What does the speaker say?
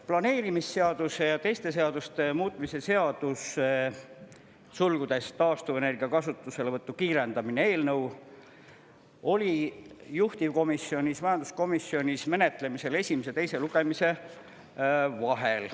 Planeerimisseaduse ja teiste seaduste muutmise seaduse eelnõu oli juhtivkomisjonis, majanduskomisjonis menetlemisel esimese ja teise lugemise vahel.